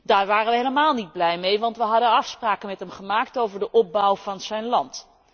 Daar waren wij helemaal niet blij mee, want wij hadden afspraken met hem gemaakt over de opbouw van zijn land.